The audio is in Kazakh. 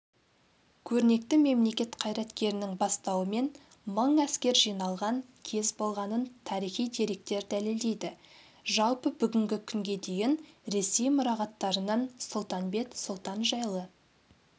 көрнекті мемлекет қайраткерінің бастауымен мың әскер жиналған кез болғанын тарихи деректер дәлелдейді жалпы бүгінгі күнге дейін ресей мұрағаттарынан сұлтанбет сұлтан жайлы